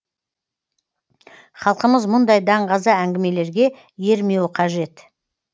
халқымыз мұндай даңғаза әңгімелерге ермеуі қажет